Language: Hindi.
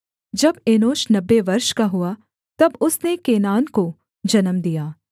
जब एनोश नब्बे वर्ष का हुआ तब उसने केनान को जन्म दिया